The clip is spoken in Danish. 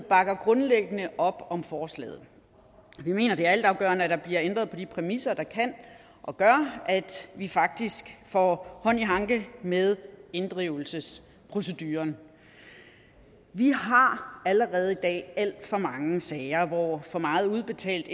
bakker grundlæggende op om forslaget vi mener det er altafgørende at der bliver ændret på de præmisser der kan og gør at vi faktisk får hånd i hanke med inddrivelsesproceduren vi har allerede i dag alt for mange sager hvor for meget udbetalt